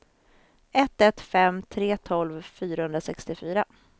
ett ett fem tre tolv fyrahundrasextiofyra